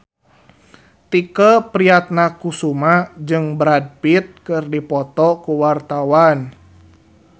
Tike Priatnakusuma jeung Brad Pitt keur dipoto ku wartawan